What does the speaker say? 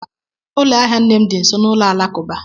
Ụlọ ahịa nne m dị nso n'ụlọ alakụba.